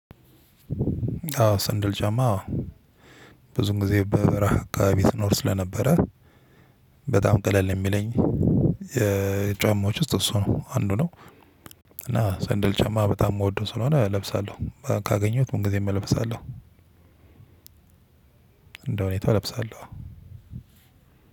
አዎ ስንደል ጫማ አዎ ብዙን ጊዜ በበረሃ አከባቢ ስኖር ስለነበረ በጣም ቀለል የሚለኝ የጫማዎች ውስጥ እሱ ነው አንዱ ነው እና ሰንደል ጫማ በጣም ምወደው ስለሆነ እለብሳለው። ካገኘሁት ምንግዜም እለብሳለው። እንደ ሁኔታ እለብሳለው።